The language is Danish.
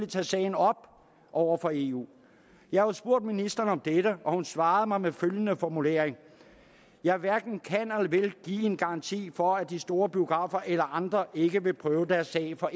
tage sagen op over for eu jeg har spurgt ministeren om dette og hun svarede mig med følgende formulering jeg hverken kan eller vil give en garanti for at de store biografer eller andre ikke vil prøve deres sag for